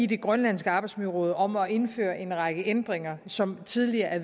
det grønlandske arbejdsmiljøråd om at indføre en række ændringer som tidligere er